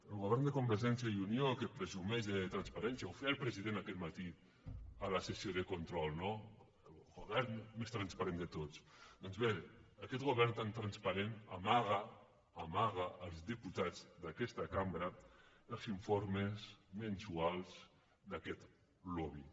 el govern de convergència i unió que presumeix de transparència ho feia el president aquest matí a la sessió de control no el govern més transparent de tots doncs bé aquest govern tan transparent amaga amaga als diputats d’aquesta cambra els informes mensuals d’aquest lobby